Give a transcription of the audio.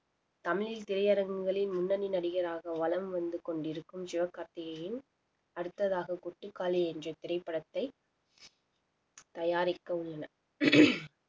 தமிழில் திரையரங்குகளில் முன்னனி நடிகராக வலம் வந்து கொண்டிருக்கும் சிவகார்த்திகேயன் அடுத்ததாக கொட்டுக்காளி என்ற திரைப்படத்தை தயாரிக்க உள்ளனர்